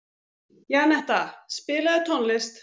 Janetta, spilaðu tónlist.